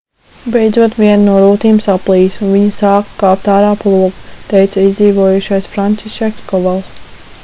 beidzot viena no rūtīm saplīsa un viņi sāka kāpt ārā pa logu teica izdzīvojušais francišeks kovals